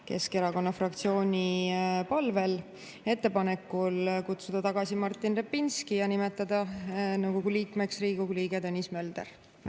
Keskerakonna fraktsiooni palvel kutsuda tagasi Martin Repinski ja nimetada nõukogu liikmeks Riigikogu liige Tõnis Mölder.